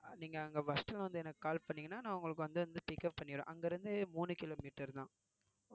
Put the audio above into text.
நீங்க அங்க bus stand வந்து எனக்கு call பண்ணீங்கன்னா நான் உங்களுக்கு வந்து pickup பண்ணிடுவேன் அங்க இருந்து மூணு kilometer தான்